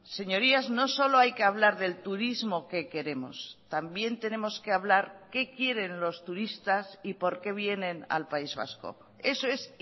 señorías no solo hay que hablar del turismo que queremos también tenemos que hablar qué quieren los turistas y por qué vienen al país vasco eso es